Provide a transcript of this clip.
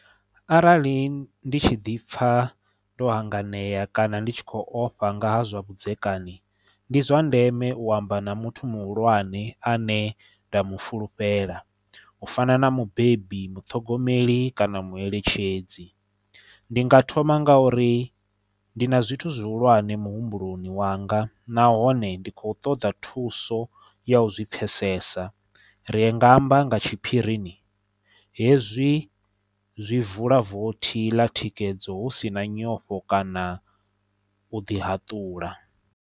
Arali ndi tshi ḓi pfha ndo hanganea kana ndi tshi khou ofha nga ha zwa vhudzekani ndi zwa ndeme u amba na muthu muhulwane ane nda mu fulufhela u fana na mubebi, muṱhogomeli kana mueletshedzi ndi nga thoma nga uri ndi na zwithu zwihulwane muhumbuloni wanga nahone ndi khou ṱoḓa thuso ya u zwi pfesesa ri nga amba nga tshiphirini hezwi zwi vula vothi ḽa thikedzo husina nyofho kana u ḓi haṱula.